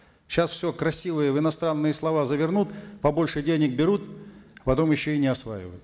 сейчас все красивые в иностранные слова завернут побольше денег берут потом еще и не осваивают